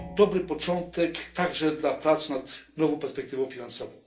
To dobry początek także dla prac nad nową perspektywą finansową.